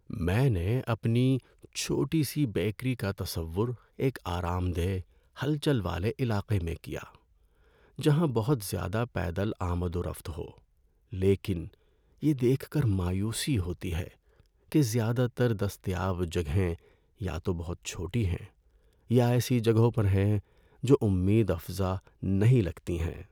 میں نے اپنی چھوٹی سی بیکری کا تصور ایک آرام دہ، ہلچل والے علاقے میں کیا جہاں بہت زیادہ پیدل آمد و رفت ہو، لیکن یہ دیکھ کر مایوسی ہوتی ہے کہ زیادہ تر دستیاب جگہیں یا تو بہت چھوٹی ہیں یا ایسی جگہوں پر ہیں جو امید افزا نہیں لگتی ہیں۔